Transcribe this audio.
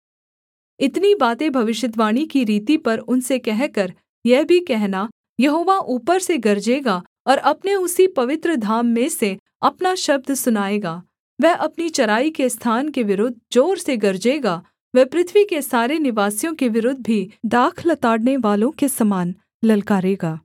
इतनी बातें भविष्यद्वाणी की रीति पर उनसे कहकर यह भी कहना यहोवा ऊपर से गरजेगा और अपने उसी पवित्र धाम में से अपना शब्द सुनाएगा वह अपनी चराई के स्थान के विरुद्ध जोर से गरजेगा वह पृथ्वी के सारे निवासियों के विरुद्ध भी दाख लताड़नेवालों के समान ललकारेगा